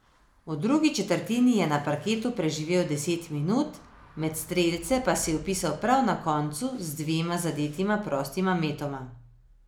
V drugi četrtini je na parketu preživel deset minut, med strelce pa se je vpisal prav na koncu z dvema zadetima prostima metoma.